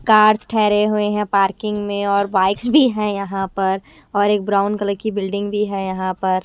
Cars ठहरें हुए हैं पार्किंग में और बाइक्स भी हैं यहां पर और एक ब्राउन कलर की बिल्डिंग भी है यहां पर।